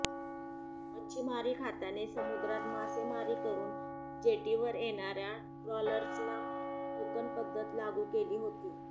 मच्छिमारी खात्याने समुद्रात मासेमारी करून जेटीवर येणार्या ट्रॉलर्सना टोकन पद्धत लागू केली होती